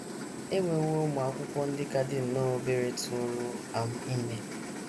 E nwewo ụmụ akwụkwọ ndị ka dị nnọọ obere tụụrụ um ime. ”